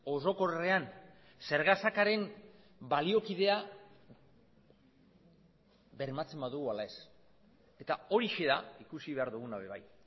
orokorrean zergasakaren baliokidea bermatzen badugu ala ez eta horixe da ikusi behar dugun ere bai